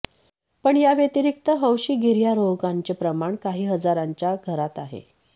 पण याव्यतिरिक्त हौशी गिर्यारोहकांचे प्रमाण काही हजाराच्या घरात आहे